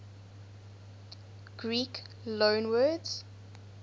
greek loanwords